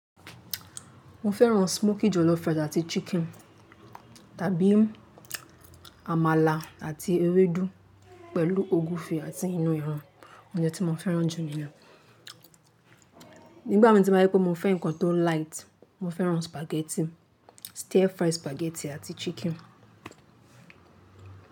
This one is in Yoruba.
Mo fẹ́ràn smoky jollof rice àti chicken tàbí àmàlà àti ewédú pẹ̀lú ogúfe àti inú ẹran, oúnjẹ tí mo fẹ́ràn jù níyen. Nígbà mi tí màá rí pé mo fẹ́ ǹkan tó light, mo fẹ́ràn spaghetti, stir fry spaghetti àti chicken.